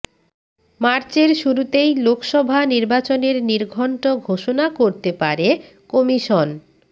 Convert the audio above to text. মার্চের শুরুতেই লোকসভা নির্বাচনের নির্ঘণ্ট ঘোষণা করতে পারে কমিশন